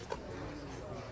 Yox, mənim adımdan elədir.